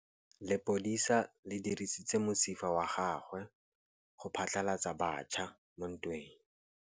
Lepodisa le dirisitse mosifa wa gagwe go phatlalatsa batšha mo ntweng.